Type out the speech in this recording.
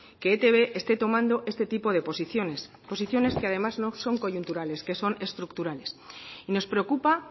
que etb esté tomando este tipo de posiciones posiciones que además no son coyunturales que son estructurales y nos preocupa